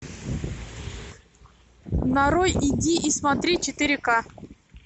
нарой иди и смотри четыре ка